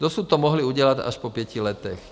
Dosud to mohli udělat až po pěti letech.